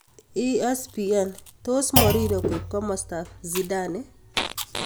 (ESPN) Tos Mourinho koip komosto ab Zidane?